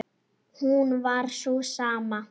hún var sú sama.